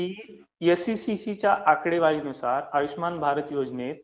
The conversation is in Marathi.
की एसइसीसीच्या आकडेवारीनुसार, आयुष्यमान भारत योजनेत